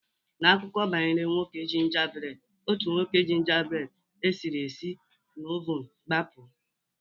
N'akụkọ banyere nwoke gingerbread, otu nwoke gingerbread esiri esi esi na oven gbapụ